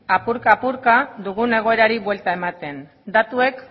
apurka apurka dugun egoerari buelta ematen datuek